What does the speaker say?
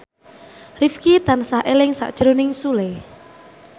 Rifqi tansah eling sakjroning Sule